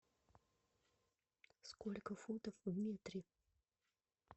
сколько футов в метре